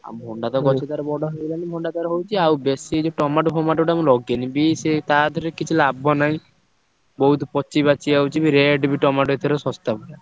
ଭଣ୍ଡା ତ ଗଛ ତାର ବଡ ହେଇଗଲାଣି ଭଣ୍ଡା ତାର ହଉଛି। ଆଉ ବେଶୀ ଏ ଯୋଉ tomato ଫମାଟ ଟା ମୁଁ ଲଗେଇନି। beans ତା ଧିଅରେ କିଛି ଲାଭ ନାହିଁ। ବହୁତ୍ ପଚିପାଚି ଯାଉଚି ବି rate ବି tomato ଏଥର ଶସ୍ତା ପୁରା।